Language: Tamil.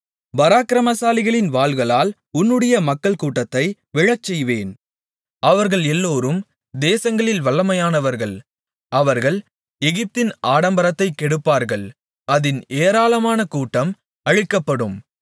பராக்கிரமசாலிகளின் வாள்களால் உன்னுடைய மக்கள்கூட்டத்தை விழச்செய்வேன் அவர்கள் எல்லோரும் தேசங்களில் வல்லமையானவர்கள் அவர்கள் எகிப்தின் ஆடம்பரத்தைக் கெடுப்பார்கள் அதின் ஏராளமான கூட்டம் அழிக்கப்படும்